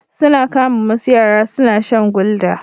Sun kama wasu yara suna shan gulder.